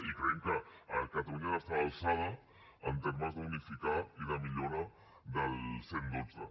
i creiem que catalunya ha d’estar a l’alçada en termes d’unificar i de millora del cent i dotze